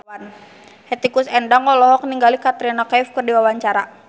Hetty Koes Endang olohok ningali Katrina Kaif keur diwawancara